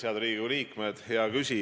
Head Riigikogu liikmed!